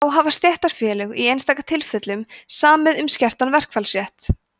þá hafa stéttarfélög í einstaka tilfellum samið um skertan verkfallsrétt